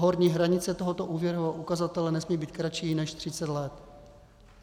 horní hranice tohoto úvěrového ukazatele nesmí být kratší než 30 let.